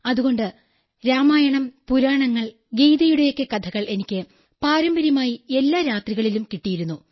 അതുകൊണ്ട് രാമായണം പുരാണങ്ങൾ ഗീത എന്നിവയിലൊക്കെയുള്ള കഥകൾ എനിക്ക് പാരമ്പര്യമായി എല്ലാ രാത്രികളിലും കിട്ടിയിരുന്നു